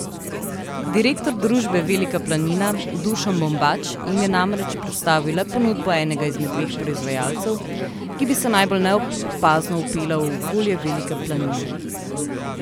Direktor družbe Velika planina Dušan Bombač jim je namreč predstavil le ponudbo enega izmed dveh proizvajalcev, ki bi se najbolj neopazno vpela v okolje Velike planine.